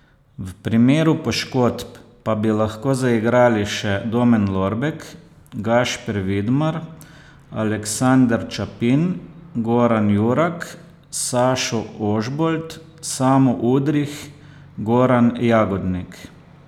V primeru poškodb pa bi lahko zaigrali še Domen Lorbek, Gašper Vidmar, Aleksander Ćapin, Goran Jurak, Sašo Ožbolt, Samo Udrih, Goran Jagodnik ...